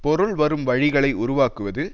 பொருள் வரும் வழிகளை உருவாக்குவது